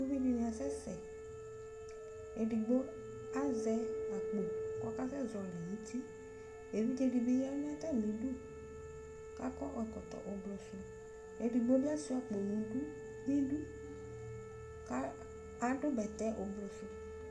Uvi dini asɛsɛEdigbo azɛ akpo kʋ ɔkasɛzɔli nʋ utiEvidze dibi yanʋ atamiduKʋ akɔ ɛkɔtɔ ublu suEdigbo bi asuia akpo nʋdu, niduKʋ adʋ bɛtɛ ublu su